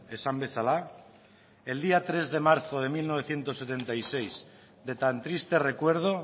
esan bezala el día tres de marzo de mil novecientos setenta y seis de tan triste recuerdo